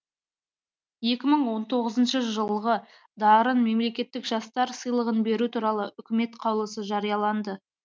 екі мың он тоғызыншы жылғы дарын мемлекеттік жастар сыйлығын беру туралы үкімет қаулысы жарияланды